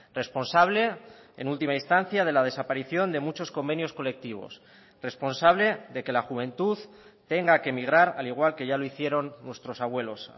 responsable en última instancia de la desaparición de muchos convenios colectivos responsable de que la juventud tenga que emigrar al igual que ya lo hicieron nuestros abuelos